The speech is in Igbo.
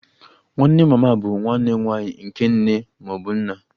Nwanne mama bụ nwanne nwanyị nke nne ma ọ bụ nna